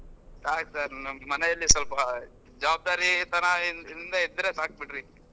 ಆಯ್ತ್ sir ಮನೇಲಿ ಸ್ವಲ್ಪ ಜವಾಬ್ದಾರಿತನದಿಂದ ಇದ್ರೆ ಸಾಕ್ ಬಿಡ್ರಿ .